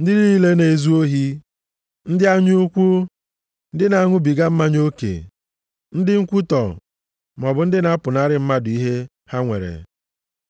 ndị niile na-ezu ohi, ndị anya ukwu, ndị na-aṅụbiga mmanya oke, ndị nkwutọ, maọbụ ndị na-apụnara mmadụ ihe ha nwere,